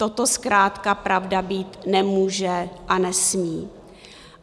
Toto zkrátka pravda být nemůže a nesmí.